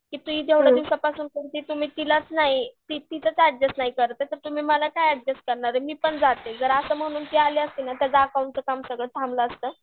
की ती जेवढ्या दिवसापासुन करती तिलाच नाही, तिचंच अड्जस्ट नाही करत ये तर तुम्ही मला काय अड्जस्ट करणार आहे मी पण जाते. जर असं म्हणून ती अली असती ना तर त्याचं अकाउंटचं काम सगळं थांबलं असतं.